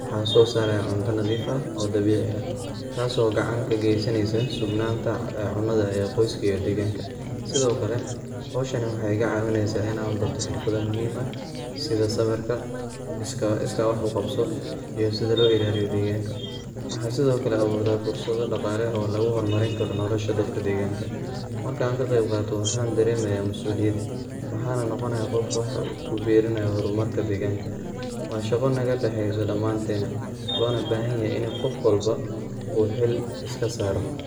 waxan sosaraya cunta nadiif ah oo dabici, taaso gacan kageysaneysa sugnanta cunada ee qoyska iyo deganka, Sidhokale xowshaani waxay igacawineysa inan barto xirfada muxiim ah, sidha sabirka, iska wax uqabso iyo sidha loilaliyo deganka, waxa Sidhokale awuraa daqala oo lagixormarin karo nolosha dadka deganka, markan kaqebgato waxa daremaya masuliyad, waxana nogonaya gof wax kuberinayo bulshada iyo hormatka deganka, wa shago nagadaxeyso daman tena, waxana lobaxanyaxay ini gof walba u xiil iskasaro.